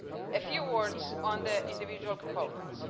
A few words on the individual components.